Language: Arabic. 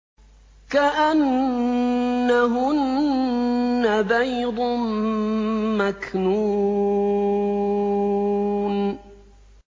كَأَنَّهُنَّ بَيْضٌ مَّكْنُونٌ